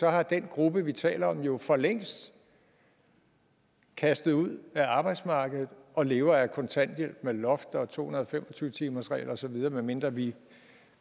er den gruppe vi taler om jo for længst kastet ud af arbejdsmarkedet og lever af kontanthjælp med loft og to hundrede og fem og tyve timersregel og så videre medmindre vi